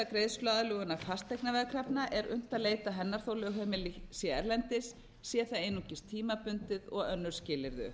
greiðsluaðlögunar fasteignaveðkrafna er unnt að leita hennar þó lögheimili sé erlendis sé það einungis tímabundið og önnur skilyrði